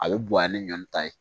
A bɛ bonya ni ɲɔn ta ye